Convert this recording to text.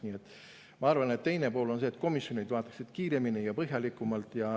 Nii et ma arvan, et teine pool on see, et komisjonid vaataksid seda kiiremini ja põhjalikumalt.